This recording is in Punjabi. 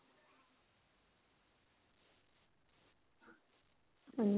ਹਾਂਜੀ